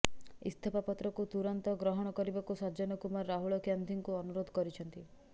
ଇସ୍ତଫାପତ୍ରକୁ ତୁରନ୍ତ ଗ୍ରହଣ କରିବାକୁ ସଜ୍ଜନ କୁମାର ରାହୁଳ ଗାନ୍ଧୀଙ୍କୁ ଅନୁରୋଧ କରିଛନ୍ତି